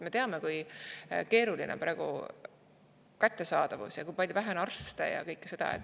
Me teame, kui keeruline on praegu kättesaadavuse ja kui vähe on arste, kõike seda.